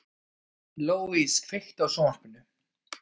Louise, kveiktu á sjónvarpinu.